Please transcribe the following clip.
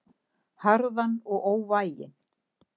Harðan og óvæginn.